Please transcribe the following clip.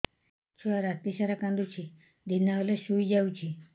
ଛୁଆ ରାତି ସାରା କାନ୍ଦୁଚି ଦିନ ହେଲେ ଶୁଇଯାଉଛି